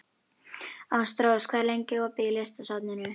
Ástrós, hvað er lengi opið í Listasafninu?